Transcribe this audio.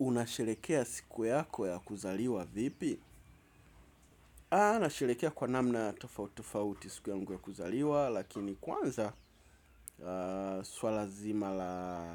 Unasherehekea siku yako ya kuzaliwa vipi? Aah nasherekea kwa namna tofauti tofauti siku yangu ya kuzaliwa. Lakini kwanza suala zima la